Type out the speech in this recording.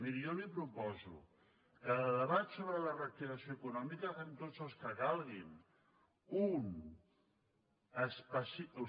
miri jo li proposo que de debats sobre la reactivació econòmica en fem tots els que calguin un d’específic